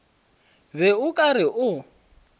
be o ka re o